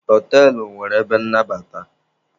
Họtelụ nwere ebe nnabata.